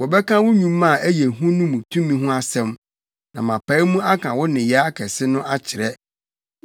Wɔbɛka wo nnwuma a ɛyɛ hu no mu tumi ho asɛm; na mapae mu aka wo nneyɛe akɛse no akyerɛ.